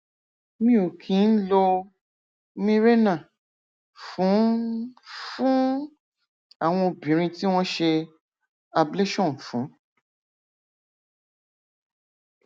mi ò kí ń lo mirena fún fún àwọn obìnrin tí wọn ṣe ablation fún